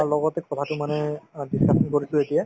লগতে কথাতো মানে অ discussion কৰিছো এতিয়া